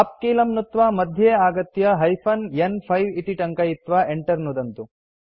उप् कीलं नुत्त्वा मध्ये आगत्य हाइफेन न्5 इति टङ्कयित्वा enter नुदन्तु